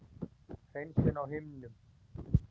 hreinsun á himnum.